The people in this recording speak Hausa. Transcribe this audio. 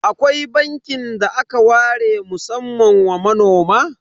Akwai bankin da aka ware musamman wa manoma?